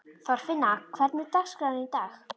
Þorfinna, hvernig er dagskráin í dag?